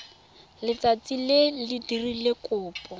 letsatsi le o dirileng kopo